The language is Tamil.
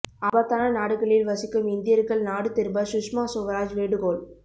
ஆபத்தான நாடுகளில் வசிக்கும் இந்தியர்கள் நாடு திரும்ப சுஷ்மா சுவராஜ் வேண்டுகோள்